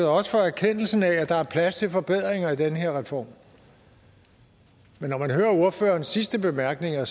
og også for erkendelsen af at der er plads til forbedringer i den her reform men når man hører ordførerens sidste bemærkninger